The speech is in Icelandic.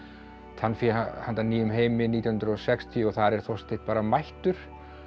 tannfé handa nýjum heimi nítján hundruð og sextíu og þar er Þorsteinn bara mættur